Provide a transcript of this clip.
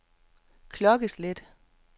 klokkeslæt